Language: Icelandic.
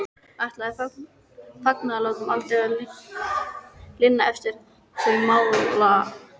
Ætlaði fagnaðarlátum aldrei að linna eftir þau málalok.